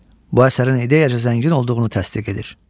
Bu əsərin ideyaca zəngin olduğunu təsdiq edir.